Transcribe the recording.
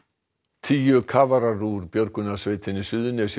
tíu kafarar úr björgunarsveitinni Suðurnesjum